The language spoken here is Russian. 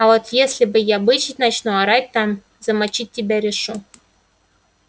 а вот если я бычить начну орать там замочить тебя решу